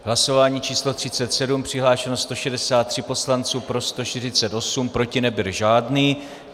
Hlasování číslo 37, přihlášeno 163 poslanců, pro 148, proti nebyl žádný.